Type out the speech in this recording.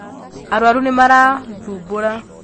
Arwaru nĩmarathumbũra.